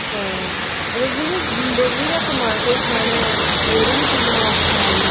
ਹਾਂ ਮਤਲਬ ਜਿਹਨੇ daily ਦਾ ਕਮਾ ਕੇ ਖਾਣਾ ਉਹਦੇ ਲਈ ਕਿੰਨਾ ਔਖਾ ਏ